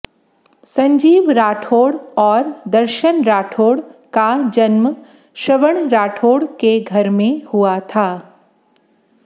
संजीव राठोड और दर्शन राठोड का जन्म श्रवण राठोड के घर में हुआ था